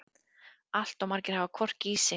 Allt of margir hafa hvorki í sig né á.